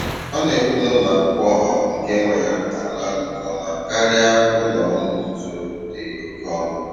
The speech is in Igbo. Ọ na-ekwu na ụlọ akwụkwọ ọha nke nwa ya na-arụ ọrụ nke ọma karịa ụlọ ọrụ nzuzo dị oke ọnụ.